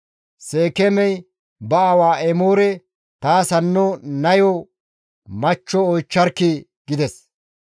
Seekeemey ba aawa Emoore, «Taas hanno nayo machcho oychcharkkii!» gides.